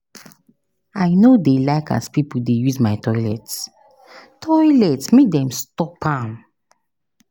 I no dey like as pipo dey use my toilet, toilet, make dem stop am.